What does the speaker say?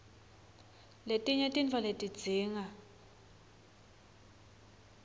letinye tintfo letidzinga